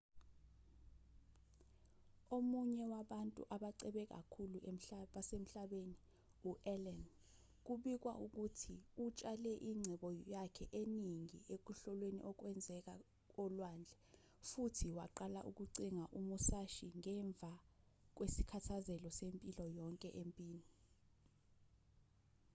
omunye wabantu abacebe kakhulu basemhlabeni u-allen kubikwa ukuthi utshale ingcebo yakhe eningi ekuhloleni okwenzeka olwandle futhi waqala ukucinga imusashi ngemva kwesithakazelo sempilo yonke empini